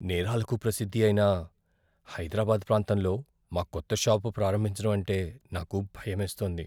నేరాలకు ప్రసిద్ధి అయిన హైదరాబాద్ ప్రాంతంలో మా కొత్త షాపు ప్రారంభించటం అంటే నాకు భయమేస్తోంది.